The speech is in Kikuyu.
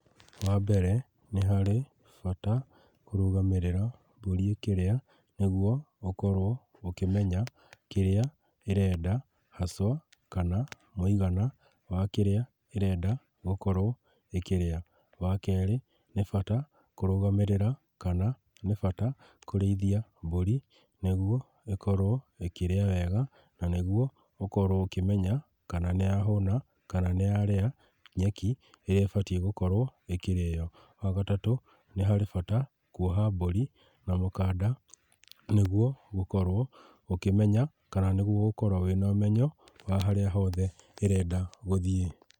Wambere, nĩharĩ bata kũrũgamĩrĩra mbũri ĩkĩrĩa, nĩguo gũkorwo ũkimenya kĩrĩa irenda haswa, kana mũigana wa kĩrĩa ĩrenda gũkorwo ĩkĩrĩa. Wa kerĩ, nĩ bata kũrũgamĩrĩra kana nĩ bata kũrĩithia mbũrĩ nĩguo ĩkorwo ĩkĩrĩa wega, na nĩguo ũkorwo ũkĩmenya kana nĩyahũna, kana nĩyarĩa nyeki ĩrĩa ĩbatie gũkorwo ĩkĩrĩo. Wagatatũ, nĩharĩ bata kuoha mbũri na mũkanda nĩguo ũkorwo ũkimenya kana nĩguo ũkorwo wĩna ũmenyo, wa harĩa hothe ĩrenda gũthiĩ.